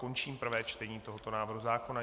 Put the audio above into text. Končím prvé čtení tohoto návrhu zákona.